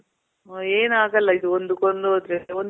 ಆ, ಏನಾಗಲ್ಲ ಇದು. ಒಂದು ಕೊಂಡೋದ್ರೆ ಒಂದು